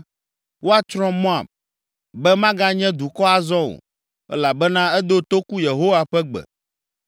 Woatsrɔ̃ Moab, be maganye dukɔ azɔ o, elabena edo toku Yehowa ƒe gbe.